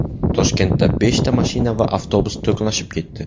Toshkentda beshta mashina va avtobus to‘qnashib ketdi.